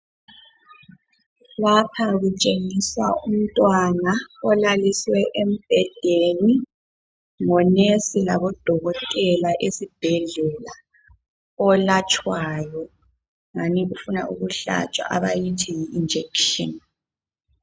lapha kutshengiswa umntwana olaliswe embhedeni ngonesi labodokotela esibhedlela olatshwayo ngani ufuna ukuhlatshwa ngama njekitshini